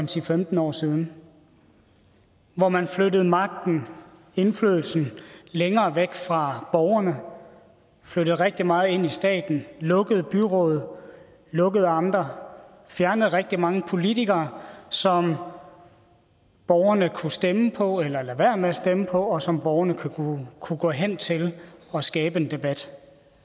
til femten år siden hvor man flyttede magten indflydelsen længere væk fra borgerne flyttede rigtig meget ind i staten lukkede byråd lukkede amter fjernede rigtig mange politikere som borgerne kunne stemme på eller lade være med at stemme på og som borgerne kunne gå hen til og skabe en debat